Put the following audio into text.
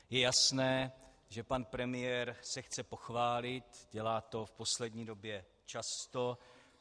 Je jasné, že pan premiér se chce pochválit, dělá to v poslední době často.